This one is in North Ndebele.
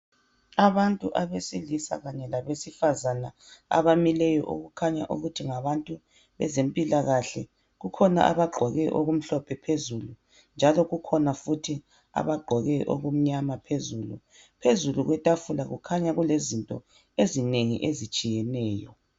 Abantu abesilisa kanye labesifazana abamileyo okukhanya ukuthi ngabantu bezempilakahle kukhona abagqoke okumhlophe phezulu njalo kukhona futhi abagqoke okumnyama phezulu. Phezulu kwetafula kukhanya kulezinto ezinengi ezitshiyeneyo